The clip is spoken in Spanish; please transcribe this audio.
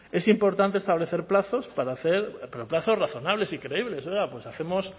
es importante establecer plazos para hacer pero plazos razonables y creíbles oiga pues hacemos